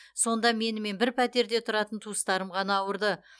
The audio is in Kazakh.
сонда менімен бір пәтерде тұратын туыстарым ғана ауырды